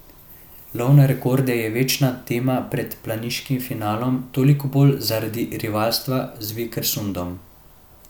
Lov na rekorde je večna tema pred planiškim finalom, toliko bolj zaradi rivalstva z Vikersundom.